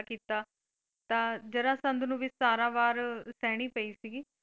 ਕੀਤਾ ਤਾਂ ਜਰਾਸੰਧ ਨੂੰ ਵੀ ਸਤਾਰਾਂ ਵਾਰ ਸਹਿਣੀ ਪਈ ਸੀ ਗੀ।